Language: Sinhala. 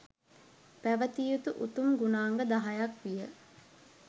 පැවැතිය යුතු උතුම් ගුණාංග 10 ක් විය.